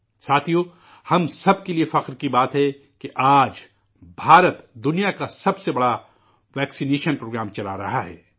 ساتھیو، ہم سب کے لیے فخر کی بات ہے، کہ آج ہندوستان ، دنیا کا، سب سے بڑا ٹیکہ کاری پروگرام چلا رہا ہے